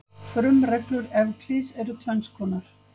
Frumreglur Evklíðs eru tvenns konar.